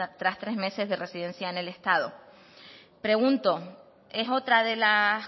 tas tres meses de residencia en el estado pregunto es otra de las